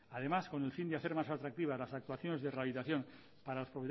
además con el fin de hacer más atractivas las actuaciones de rehabilitación para los